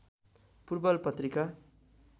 पूर्वल पत्रिका